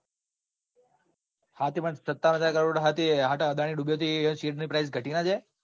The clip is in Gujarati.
હા તે પણ સત્તાવન હજાર કરોડ હ તે અદાણી ડૂબ્યો હ તો share price ઘટી જાય ના જાય.